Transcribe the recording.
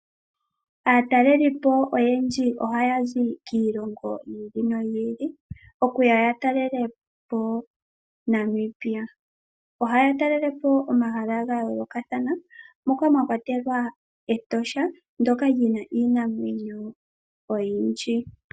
Aatalelipo oyendji ohaya zi kiilongo yi ili noyi ili okuya ya talele po Namibia. Ohaya talele po omahala ga yoolokathana moka mwa kwatelwa Etosha ndoka lina iinamwenyo oyindji.